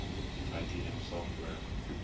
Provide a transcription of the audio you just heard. ibm software